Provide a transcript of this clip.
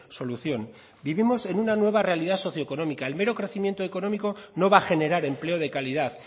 solución vivimos en una nueva realidad socioeconómica el mero crecimiento económico no va a generar empleo de calidad